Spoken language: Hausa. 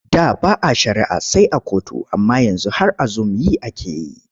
Da ba a shari'a sai a kotu amma yanzu har a zum yi ake yi.